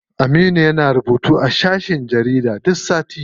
Aminu yana rubutu a shafin jarida duk sati.